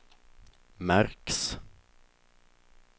märks